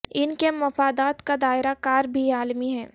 ان کے مفادات کا دائرہ کار بھی عالمی ہے